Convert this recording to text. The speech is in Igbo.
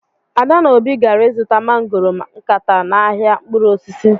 Ada na obi gara izuta mangoro nkata n'ahịa mkpụrụ osisi.